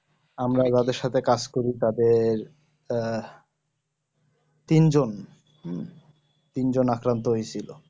আমরা এভাবে সাথে কাজ করি তাদের আহ তিনজন হম তিনজন আক্রান্ত হয়েছি